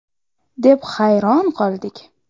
!” deb hayron qoldik.